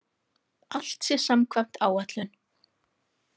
Allt sé samkvæmt áætlun